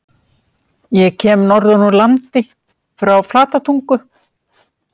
Ég kem norðan úr landi- frá Flatatungu.